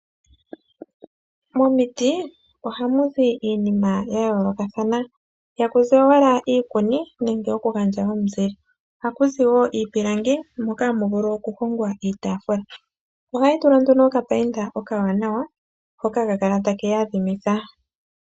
Momiti ohamu zi iinima ya yoolokathana, ihaku zi owala iikuni nenge okugandja omuzile. Ohaku zi wo iipilangi moka hamu vulu okuhongwa iitaafula. Ohayi tulwa nduno okapainda okawanawa hoka haka kala take yi yadhimitha.